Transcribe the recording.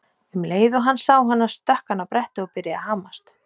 Um leið og hann sá hana stökk hann á brettið og byrjaði að hamast.